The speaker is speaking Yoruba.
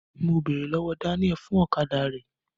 Mo bèrè lọwọ Daniel fún ọ̀kadà rẹ.